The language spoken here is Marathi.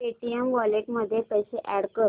पेटीएम वॉलेट मध्ये पैसे अॅड कर